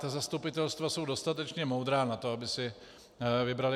Ta zastupitelstva jsou dostatečně moudrá na to, aby si vybrala.